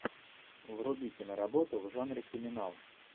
вруби киноработу в жанре криминал